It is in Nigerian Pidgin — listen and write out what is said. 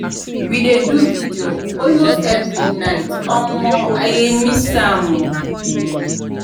we dey do video all most every night. omo i dey miss am..